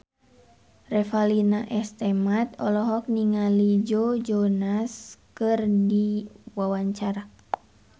Revalina S. Temat olohok ningali Joe Jonas keur diwawancara